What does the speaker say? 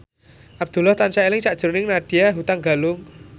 Abdullah tansah eling sakjroning Nadya Hutagalung